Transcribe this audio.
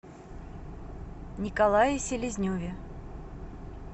николае селезневе